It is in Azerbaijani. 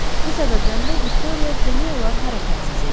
Bu səbəbdən də Viktoriya demək olar hərəkətsiz idi.